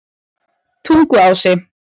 Tunguási